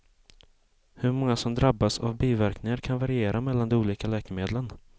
Hur många som drabbas av biverkningar kan variera mellan de olika läkemedlen.